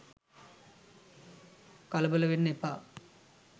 කලබල වෙන්න එපා